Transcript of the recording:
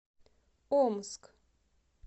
омск